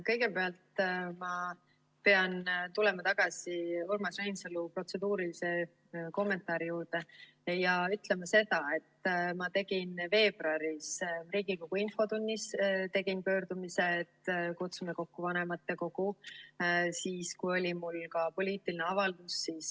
Kõigepealt ma pean tulema tagasi Urmas Reinsalu protseduurilise kommentaari juurde ja ütlema seda, et ma tegin veebruaris Riigikogu infotunnis pöördumise, et kutsume kokku vanematekogu, siis kui oli mul ka poliitiline avaldus.